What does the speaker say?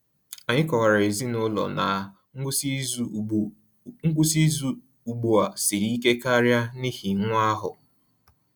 Anyị kọwaara ezinụlọ na ngwụsị izu ugbu ngwụsị izu ugbu a siri ike karịa n’ihi nwa ahụ.